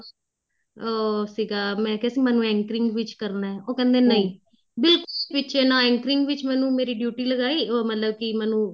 ਉਹ ਸੀਗਾ ਮੈਂ ਕਿਆ ਸੀ ਮੈਨੂੰ anchoring ਵਿੱਚ ਕਰਨਾ ਉਹ ਕਹਿੰਦੇ ਬਿਲਕੁਲ ਵਿੱਚ ਏ ਨਾ anchoring ਵਿੱਚ ਮੈਨੂੰ ਮੇਰੀ duty ਲਗਾਈ ਉਹ ਮਤਲਬ ਕੀ ਮੈਨੂੰ